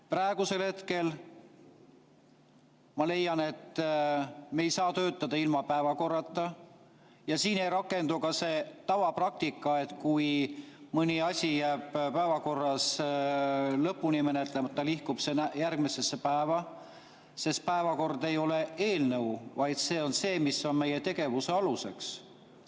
Praegu ma leian, et me ei saa töötada ilma päevakorrata, ja siin ei rakendu ka see tavapraktika, et kui mõni asi jääb päevakorras lõpuni menetlemata, siis nihkub see järgmisesse päeva, sest päevakord ei ole eelnõu, vaid see on see, mis on meie tegevuse aluseks.